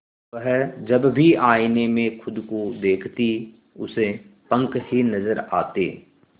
वह जब भी आईने में खुद को देखती उसे पंख ही नजर आते